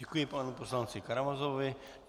Děkuji panu poslanci Karamazovovi.